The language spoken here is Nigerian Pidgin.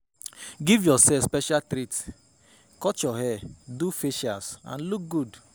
Give yourself special treat, cut your hair, do facials and look good